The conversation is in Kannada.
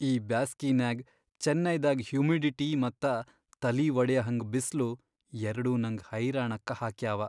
ಈ ಬ್ಯಾಸ್ಗಿನ್ಯಾಗ್ ಚೆನ್ನೈದಾಗ್ ಹ್ಯುಮಿಡಿಟಿ ಮತ್ತ ತಲಿ ವಡಿಯಹಂಗ್ ಬಿಸ್ಲು ಎರ್ಡೂ ನಂಗ್ ಹೈರಾಣಕ್ಕ ಹಾಕ್ಯಾವ.